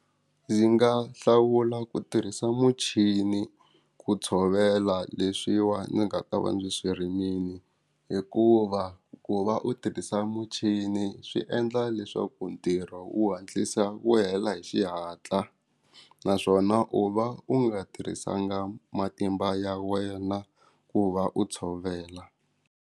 Ndzi nga hlawula ku tirhisa muchini ku tshovela leswiwa ndzi nga ta va ndzi swi rimile hikuva ku va u tirhisa muchini swi endla leswaku ntirho u hatlisa wu hela hi xihatla naswona u va u nga tirhisanga matimba ya wena ku va u tshovela.